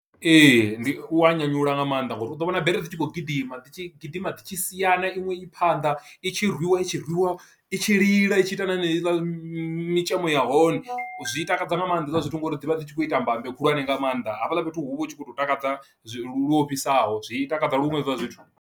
Ee ndi u wa nyanyula nga maanḓa ngori u ḓo vhona bere dzi tshi khou gidima dzi tshi gidima dzi tshi siana iṅwe i phanḓa i tshi rwiwa itshi rwiwa i tshi lila itshi ita nahone heila mitshelo ya hone, zwi takadza nga maanḓa zwiḽa zwithu ngori dzi vha dzi tshi khou ita mbambe khulwane nga maanḓa hafhaḽa fhethu hu vha hu tshi khou tou takadza lu ofhisaho zwi takadza luṅwe hezwiḽa zwithu.